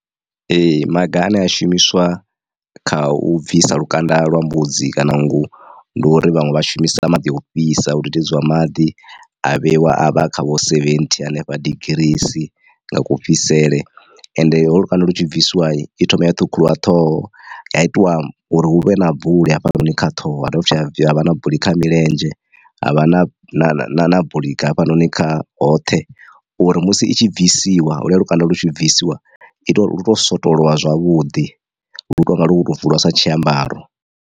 Ee maga ane a shumiswa kha u bvisa lukanda lwa mbudzi kana nngu ndi uri vhaṅwe vha shumisa maḓi o fhisa hu dudedziwa maḓi a vheiwa avha kha vho seventhi hanefha digirii nga kufhisele ende ho lukanda lu tshi bvisiwa i thoma ya ṱhukhuliwa ṱhoho ya itiwa uri hu vhe na buli hafhanoni kha ṱhoho ha dovha futhi ha havha na buli kha milenzhe ha vha na na buli hafhanoni kha hoṱhe uri musi i tshi bvisiwa lukanda lu tshi bvisiwa ita uri lu to swotolwa zwavhuḓi lu tonga lu kho to bvuliwa sa tshiambaro.